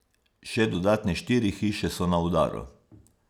Še dodatne štiri hiše so na udaru.